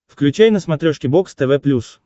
включай на смотрешке бокс тв плюс